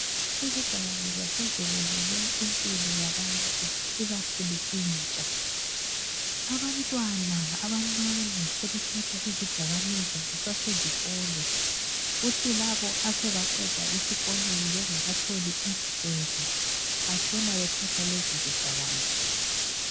Izidakamizwa sezibulele impilo yabantu ikakhulu intsha. Abantwana abancane sebethatha izidakamizwa besasezikolo kuthi labo asebaqeda esikolweni bengakatholi umsebenzi batshona bethatha lezo zidakamizwa.